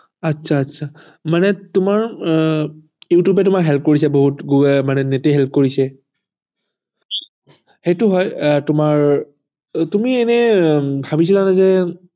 আচ্ছা আচ্ছা মানে তোমাৰ youtube এ তোমাক help কৰিছে বহুত মানে net এ help কৰিছে সেইটো হয় আহ তোমাৰ তুমি এনেই ভাবিছিলানে যে